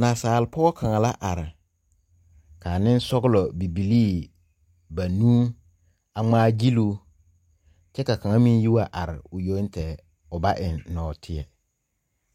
Naasaalpoɔ kanga la arẽ ka ninsɔglo bibilii banuu a ngmaa gyiluu kye ka kang meng yi wa arẽ ɔ yong tɛɛ ɔ ba en noɔtei